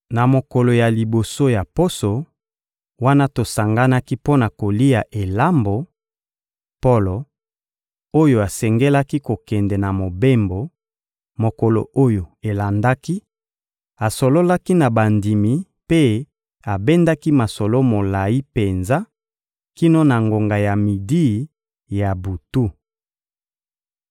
Na mokolo ya liboso ya poso, wana tosanganaki mpo na kolia elambo, Polo, oyo asengelaki kokende na mobembo, mokolo oyo elandaki, asololaki na bandimi mpe abendaki masolo molayi penza kino na ngonga ya midi ya butu.